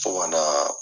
Fo ka na